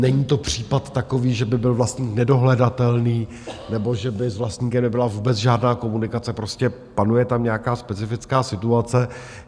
Není to případ takový, že by byl vlastník nedohledatelný nebo že by s vlastníkem nebyla vůbec žádná komunikace, prostě panuje tam nějaká specifická situace.